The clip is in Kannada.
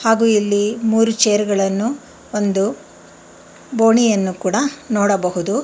ಹಾಗು ಇಲ್ಲಿ ಮೂರು ಚೇರ್ ಗಳನ್ನು ಒಂದು ಬೋಣಿಯನ್ನು ಕೂಡ ನೋಡಬಹುದು.